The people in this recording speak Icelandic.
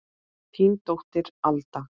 Þín dóttir, Alda.